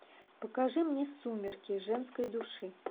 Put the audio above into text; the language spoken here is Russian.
покажи мне сумерки женской души